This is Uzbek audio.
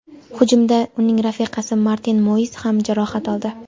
Hujumda uning rafiqasi Martin Moiz ham jarohat oldi.